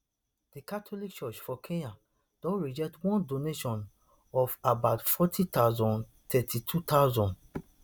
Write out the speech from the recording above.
di catholic church for kenya don reject one donation of about forty thousand thirty-two thousand